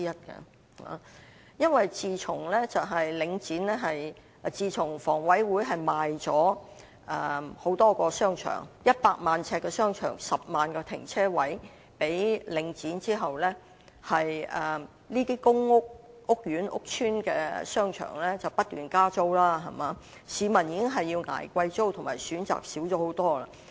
自從房屋委員會向領展出售面積總共達100萬呎的多個商場及10萬個停車位後，這些公屋屋苑或屋邨的商場不斷加租，市民已經要捱貴租，而且選擇少了許多。